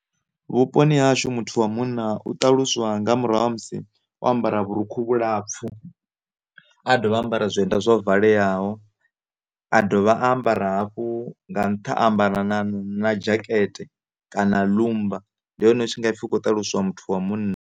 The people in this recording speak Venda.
Vhuponi ha hashu muthu wa munna u ṱaluswa nga murahu ha musi o ambara vhurukhu vhulapfhu a dovha a ambara zwienda zwo valeaho a dovha a ambara hafhu, nga nṱha a ambara na dzhakete kana ḽummba ndi hone hu tshi nga pfhi hu kho ṱaluswa muthu wa munna.